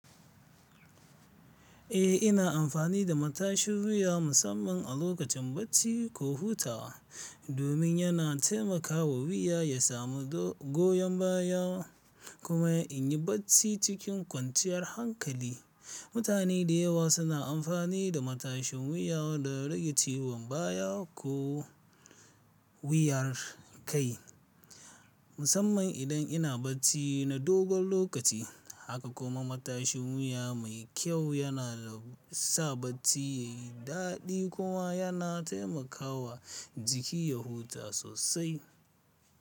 Eh, ina amfani da matashin wuya musamman a lokacin bacci ko hutawa domin yana taimakawa wuya ya samu goyon baya kuma in yi bacci cikin kwanciyar hankali. Mutane da yawa suna amfani da matashin wuya don rage ciwon baya ko wiyar kai, musamman idan ina bacci na dogon lokaci. Haka kuma matashin wuya mai kyau yana sa bacci ya yi daɗi kuma yana taimakawa jiki ya huta sosai.